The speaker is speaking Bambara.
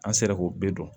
An sera k'o bɛɛ dɔn